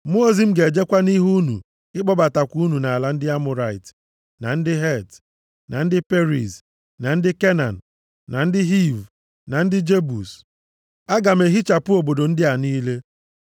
Mmụọ ozi m ga-ejekwa nʼihu unu, ịkpọbatakwa unu nʼala ndị Amọrait, na ndị Het, na ndị Periz, na ndị Kenan, na ndị Hiv, na ndị Jebus. Aga m ehichapụ obodo ndị a niile.